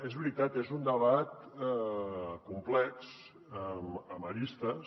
és veritat és un debat complex amb arestes